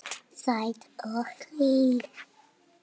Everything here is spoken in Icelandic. Sæt og hlý.